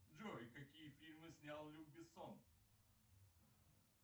джой какие фильмы снял люк бессон